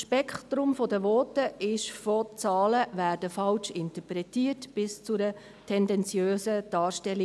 Das Spektrum der Voten ging von «Zahlen werden falsch interpretiert» bis zu einer «tendenziösen Darstellung».